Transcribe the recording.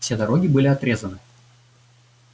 все дороги были отрезаны